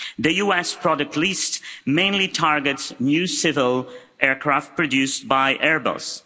The US product list mainly targets new civil aircraft produced by Airbus.